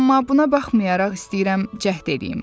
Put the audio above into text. Amma buna baxmayaraq istəyirəm cəhd eləyim.